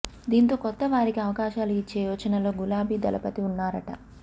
దీంతో కొత్త వారికి అవకాశాలు ఇచ్చే యోచనలో గులాబీ దళపతి ఉన్నారట